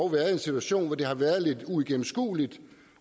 været i en situation hvor det dog har været lidt uigennemskueligt